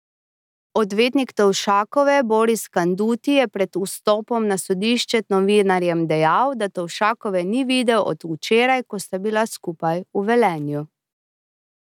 Odvetnik Tovšakove Boris Kanduti je pred vstopom na sodišče novinarjem dejal, da Tovšakove ni videl od včeraj, ko sta bila skupaj v Velenju.